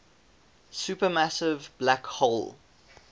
supermassive black hole